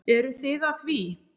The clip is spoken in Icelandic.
Eruð þið að því?